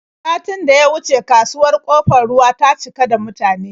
Satin da ya wuce kasuwar Ƙofar Ruwa ta cika da mutane.